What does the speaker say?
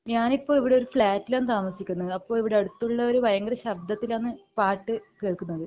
ഞാനിപ്പോ ഇവിടെ ഒരു ഫ്ലാറ്റിൽ ആണ് താമസിക്കുന്നത് അപ്പൊ ഇവിടെ അടുത്തുള്ളവർ ഭയങ്കര ശബ്ദത്തിൽ ആണ് പാട്ട് കേൾക്കുന്നത്